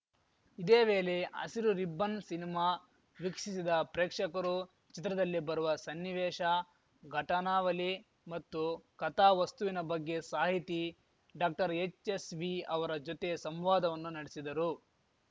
ಇದೇ ವೇಲೆ Hasiru ribbon cinema ವೀಕ್ಷಿಸಿದ ಪ್ರೇಕ್ಷಕರು ಚಿತ್ರದಲ್ಲಿ ಬರುವ ಸನ್ನಿವೇಶ ಘಟನಾವಲಿ ಮತ್ತು ಕಥಾ ವಸ್ತುವಿನ ಬಗ್ಗೆ ಸಾಹಿತಿ ಡಾಕ್ಟರ್ಎಚ್‌ಎಸ್‌ವಿ ಅವರ ಜೊತೆ ಸಂವಾದವನ್ನು ನಡೆಸಿದರು